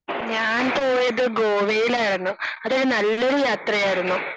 ഞാൻ പോയത് ഗോവയിലായിരുന്നു. അതൊരു നല്ലൊരു യാത്രയായിരുന്നു.